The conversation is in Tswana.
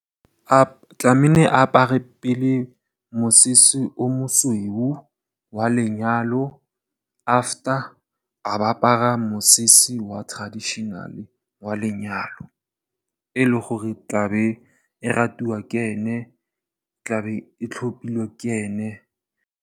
A tlamehile a apare pele mosese o mosweu wa lenyalo, after a ba apara mosese wa traditional wa lenyalo o leng gore tlabe o ratiwa ke ene, tlabe o tlhopile ke ene.